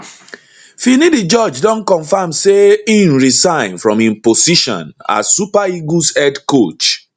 finidi george don confam say im resign from im position as super eagles head coach